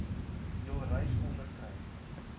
jul reis onderkry